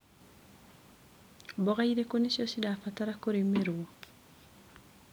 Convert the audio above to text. Mboga irĩkũ nĩcio cirabatara kũrĩmĩrwo.